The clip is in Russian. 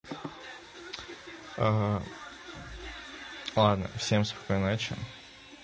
а ладно всем спокойной ночи